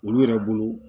Olu yɛrɛ bolo